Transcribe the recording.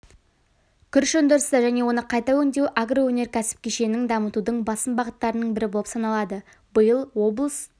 күріш өндірісі және оны қайта өңдеу агроөнеркәсіп кешенін дамытудың басым бағыттарының бірі болып саналады биыл облыс